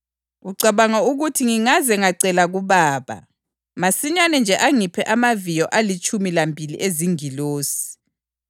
Ucabanga ukuthi ngingaze ngacela kuBaba, masinyane nje angiphe amaviyo alitshumi lambili ezingilosi?